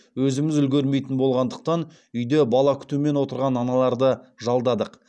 өзіміз үлгермейтін болғандықтан үйде бала күтумен отырған аналарды жалдадық